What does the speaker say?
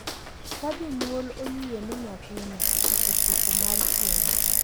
Ka jonyuol oyie ni nyathino “osechopo” mar keny, .